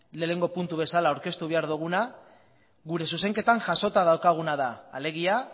lehenengo puntu bezala aurkeztu behar duguna gure zuzenketan jasota daukaguna da alegia